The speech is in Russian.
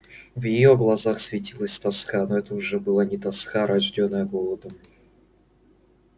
в её глазах светилась тоска но это уже была не тоска рождённая голодом